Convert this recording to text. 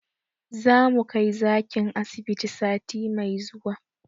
Zamu kai zakin asibiti sati mai zuwa